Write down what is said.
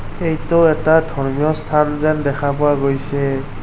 এইটো এটা ধৰ্মীয় স্থান যেন দেখা পোৱা গৈছে।